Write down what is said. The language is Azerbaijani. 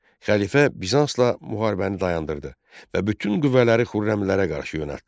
Xəlifə Bizansla müharibəni dayandırdı və bütün qüvvələri Xürrəmlərə qarşı yönəltdi.